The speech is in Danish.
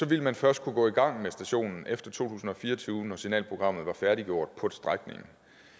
ville man først kunne gå i gang med stationen efter to tusind og fire og tyve når signalprogrammet var færdiggjort på strækningen